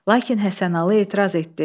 Lakin Həsənalı etiraz etdi.